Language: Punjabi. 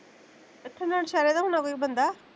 ਇੱਥੇ ਨਾਲ਼ ਸਹਿਰੇ ਦਾ ਹੁਣਾ ਕੋਈ ਬੰਦਾ